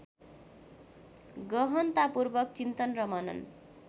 गहनतापूर्वक चिन्तन र मनन